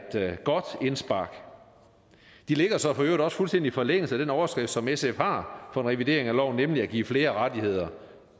godt indspark det ligger så i øvrigt også fuldstændig i forlængelse af den overskrift som sf har for en revidering af loven nemlig at give flere rettigheder